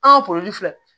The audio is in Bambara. An ka filɛ